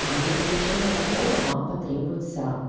а для получения дохода вам потребуется